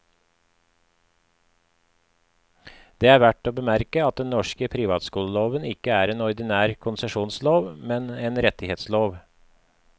Det er verdt å bemerke at den norske privatskoleloven ikke er en ordinær konsesjonslov, men en rettighetslov.